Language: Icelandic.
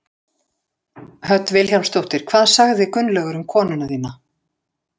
Hödd Vilhjálmsdóttir: Hvað sagði Gunnlaugur um konuna þína?